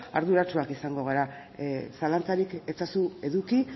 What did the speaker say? arduratsuak izango gara zalantzarik ezazu eduki